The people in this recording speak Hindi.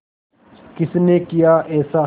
किसने किया ऐसा